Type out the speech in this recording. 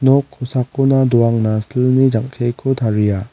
nok kosakona doangna silni jang·keko taria.